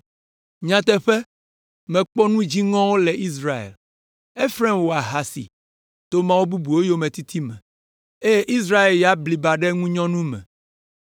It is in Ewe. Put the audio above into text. Nyateƒe, mekpɔ nu dziŋɔwo le Israel. Efraim wɔ ahasi to mawu bubuwo yometiti me, eye Israel ya bliba ɖe ŋunyɔnu me.